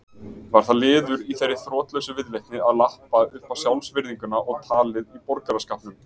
Var það liður í þeirri þrotlausu viðleitni að lappa uppá sjálfsvirðinguna og tolla í borgaraskapnum.